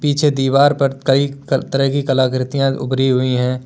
पीछे दीवार पर कई तरह की कलाकृतियां उभरी हुई है।